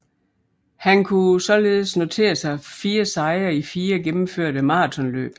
Han kunne således notere sig fire sejre i fire gennemførte maratonløb